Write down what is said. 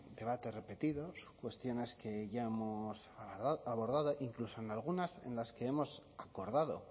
debates repetidos cuestiones que ya hemos abordado incluso en algunas en las que hemos acordado